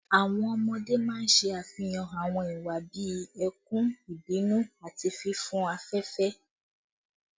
Awọn ọmọde maa n ṣe afihan awọn iwa bii ẹkun, ibinu, ati fifun afẹfẹ